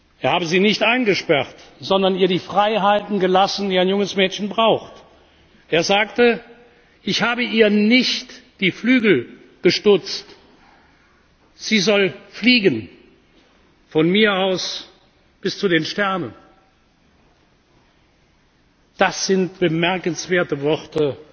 Er habe sie nicht eingesperrt, sondern ihr die Freiheiten gelassen, die ein junges Mädchen braucht. Er sagte Ich habe ihr nicht die Flügel gestutzt, sie soll fliegen, von mir aus bis zu den Sternen! Das sind bemerkenswerte